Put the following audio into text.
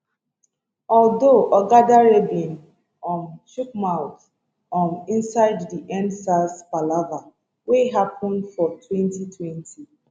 although oga dare bin um chook mouth um insidedi endsars palava wey happen for 2020